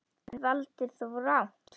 En, þú valdir rangt.